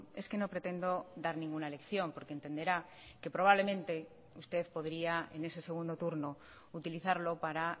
es que no pretendo dar ninguna lección porque entenderá que probablemente usted podría en ese segundo turno utilizarlo para